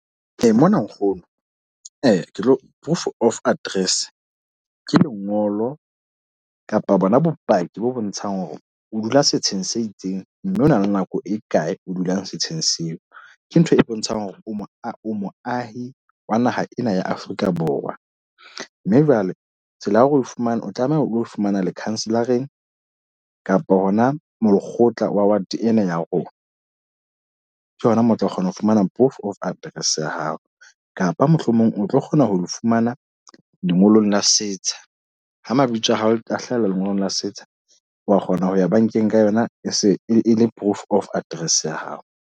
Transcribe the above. Mona nkgono, ke tlo proof of address. Ke lengolo kapa bona bopaki bo bontshang hore o dula setsheng se itseng mme ona le nako e kae o dulang setsheng seo. Ke ntho e bontshang hore o mo moahi wa naha ena ya Afrika Borwa. Mme jwale tsela ya hore o fumane, o tlameha o lo fumana lekhanselareng kapa hona moo lekgotla wa ward ena ya rona. Ke hona moo o tla kgona ho fumana proof of address ya hao. Kapa mohlomong o tlo kgona ho fumana lengolo la setsha, ha mabitso a hao a hlaha le lengolo la setsha wa kgona ho ya bankeng ka yona. E se e le proof of address ya hao.